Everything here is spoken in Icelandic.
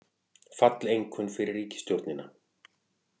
Falleinkunn fyrir ríkisstjórnina